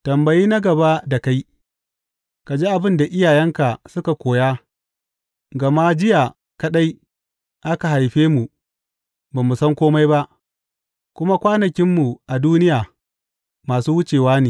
Tambayi na gaba da kai ka ji abin da iyayenka suka koya gama jiya kaɗai aka haife mu ba mu san kome ba, kuma kwanakinmu a duniya masu wucewa ne.